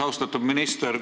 Austatud minister!